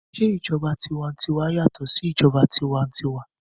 Se ìjọba tiwantiwa yàtọ̀ sí ìjọba tiwa-n-tiwa?